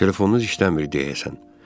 Telefonunuz işləmir, deyəsən.